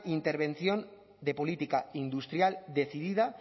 intervención de política industrial decidida